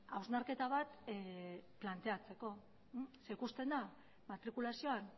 hausnarketa bat planteatzeko zeren ikusten da matrikulazioan